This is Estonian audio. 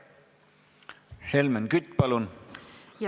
Helmen Kütt, palun!